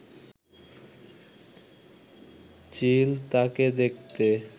চিল তাকে দেখতে